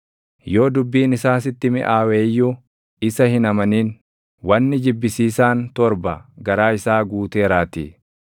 Yoo dubbiin isaa sitti miʼaawe iyyuu isa hin amanin; wanni jibbisiisaan torba garaa isaa guuteeraatii.